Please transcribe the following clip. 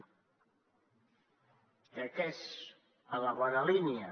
crec que és en la bona línia